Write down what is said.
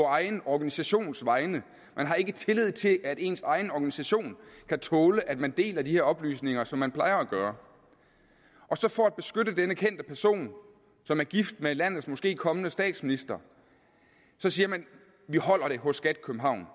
egen organisations vegne man har ikke tillid til at ens egen organisation kan tåle at man deler de her oplysninger som man plejer at gøre og så for at beskytte denne kendte person som er gift med landets måske kommende statsminister siger man vi holder det hos skat københavn